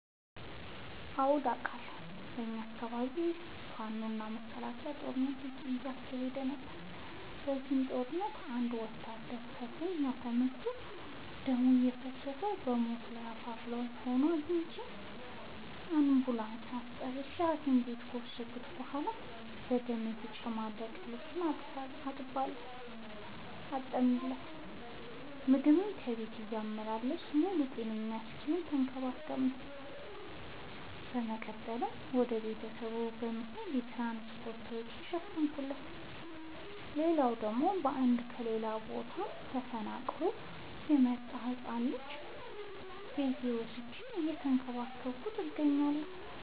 አዎድ አቃለሁ። በኛ አካባቢ ፋኖ እና መከላከያ ጦርነት አካሂደው ነበር። በዚህ ጦርነት አንድ ወታደር ክፋኛ ተመቶ ደም እየፈሰሰው በሞት አፋፍ ላይ ሆኖ አግኝቼው። አንቡላንስ አስጠርቼ ሀኪም ቤት ከወሰድከት በኋላ በደም የተጨማለቀ ልብሱን አጠብለት። ምግብ ከቤት እያመላለስኩ ሙሉ ጤነኛ እስኪሆን ተከባክ ቤዋለሁ። በመቀጠልም ወደ ቤተሰቡ የሚሄድበትን የትራንስፓርት ወጪውን ሸፈንኩለት። ሌላላው ደግሞ አንድ ከሌላ ቦታ ተፈናቅሎ የመጣን ህፃን ልጅ ቤቴ ወስጄ እየተንከባከብኩ እገኛለሁ።